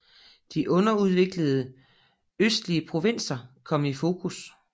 De underudviklede østlige provinser kom i fokus